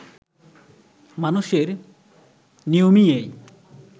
মানুষের নিয়মই এই